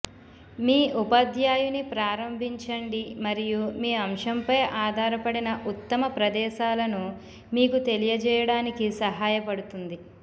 మీ ఉపాధ్యాయుని ప్రారంభించండి మరియు మీ అంశంపై ఆధారపడిన ఉత్తమ ప్రదేశాలను మీకు తెలియజేయడానికి సహాయపడుతుంది